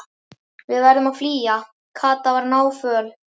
Við verðum að flýja. Kata var náföl.